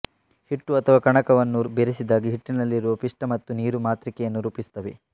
ಹಿಟ್ಟು ಅಥವಾ ಕಣಕವನ್ನು ಬೆರೆಸಿದಾಗ ಹಿಟ್ಟಿನಲ್ಲಿರುವ ಪಿಷ್ಟ ಮತ್ತು ನೀರು ಮಾತೃಕೆಯನ್ನು ರೂಪಿಸುತ್ತವೆ